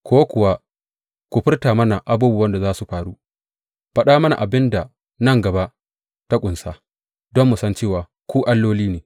Ko kuwa ku furta mana abubuwan da za su faru, faɗa mana abin da nan gaba ta ƙunsa, don mu san cewa ku alloli ne.